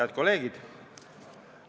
Head kolleegid!